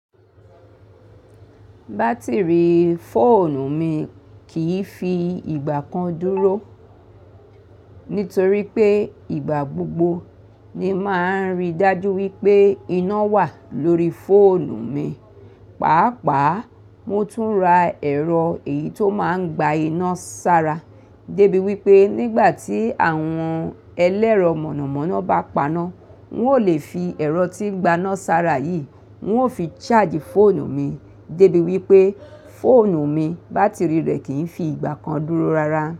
Batiri fóònù mi kìí fi ìgbà kan dúró. Nítorí pé ìgbà gbogbo ni máa ń rí dájú wípé iná wà lórí fóònù mi. Pàápàá mo tún ra ẹ̀rọ èyí tó máa ń gba iná sára débi wípé nígbà tí àwọn ẹlẹ́rọ mọ̀nàmọ́ná bá paná, n ó lè fi ẹ̀rọ tí ń gba iná sára yìí, n ó fi charge fóònù mi débi wípé fóònù mi, bátìrì rẹ kì ń fi ìgbà kan dúró rárá.